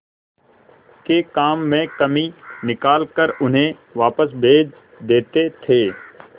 के काम में कमी निकाल कर उन्हें वापस भेज देते थे